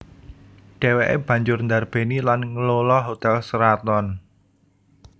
Dhèwèké banjur ndarbèni lan nglola Hotel Sheraton